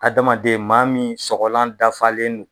Hadamaden maa min sɔgɔlan dafalen don,